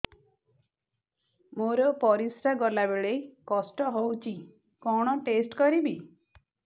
ମୋର ପରିସ୍ରା ଗଲାବେଳେ କଷ୍ଟ ହଉଚି କଣ ଟେଷ୍ଟ କରିବି